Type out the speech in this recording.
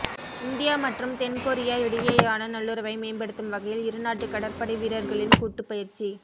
India மற்றும் தென்கொரியா இடையேயான நல்லுறவை மேம்படுத்தும் வகையில் இருநாட்டு கடற்படை வீரர்களின் கூட்டு பயிற்சி